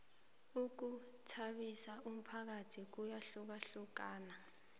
ukhuthabisa umphakathi kuyahlukahlukana